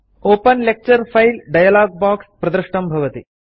open lecture file dialog box प्रदृष्टं भवति